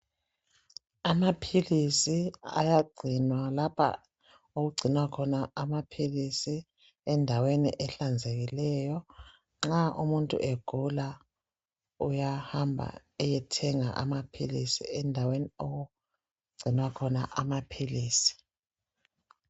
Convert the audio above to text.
Amapills ayangcinwa lapho okungcinwa khona amapills endaweni ehlanzekileyo nxa umuntu egula uyahamba eyethenga amapills endaweni okungcinwa khona amapills